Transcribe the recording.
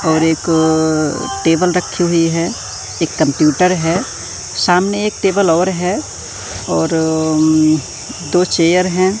और एक टेबल रखी हुई है। एक कंप्यूटर है। सामने एक टेबल और है और उम्म दो चेयर है।